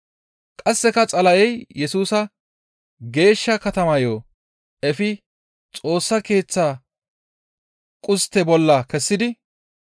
Qasseka Xala7ey Yesusa geeshsha katamayo efi Xoossa Keeththa qustte bolla kessidi,